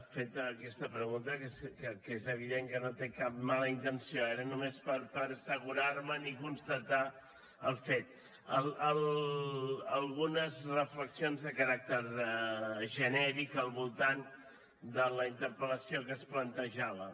feta aquesta pregunta que és evident que no té cap mala intenció era només per assegurarme’n i constatar el fet algunes reflexions de caràcter genèric al voltant de la interpel·lació que es plantejava